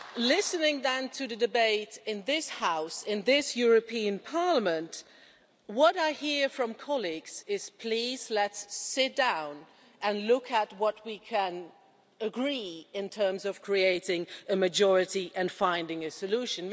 Listening then to the debate in this House, in this European Parliament, what I hear from colleagues is Please let's sit down and look at what we can agree in terms of creating a majority and finding a solution.'